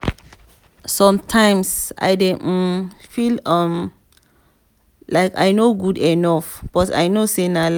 sometimes i dey um feal um like i no good enough but i know sey na lie.